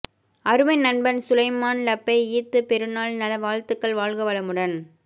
அருமை நண்பன் சுலைமான் லப்பை ஈத் பெருநாள் நல வாழ்த்துக்கள் வாழ்க வளமுடன்